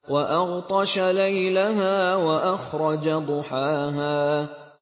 وَأَغْطَشَ لَيْلَهَا وَأَخْرَجَ ضُحَاهَا